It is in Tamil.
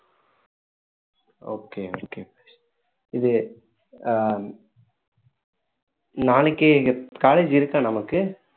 okay okay இது ஆஹ் நாளைக்கு college இருக்கா நமக்கு